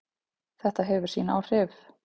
Þetta hefur sín áhrif.